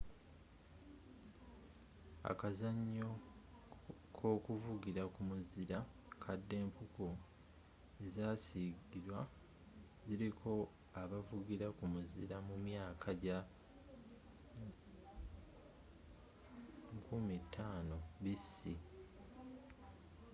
akazanyo k'okuvugira ku muzira kadda-empuku ezasiigirwa ziriko abavugira ku muzira mu myaka gya 5000 bc